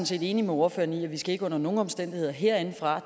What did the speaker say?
set enig med ordføreren i at vi ikke under nogen omstændigheder herindefra